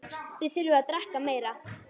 Þið þurfið að drekka meira.